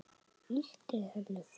Ýti henni frá mér.